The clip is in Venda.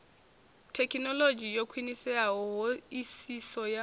thekhinolodzhi yo khwiniseaho hoisiso ya